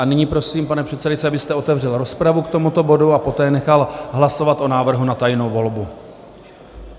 A nyní prosím, pane předsedající, abyste otevřel rozpravu k tomuto bodu a poté nechal hlasovat o návrhu na tajnou volbu.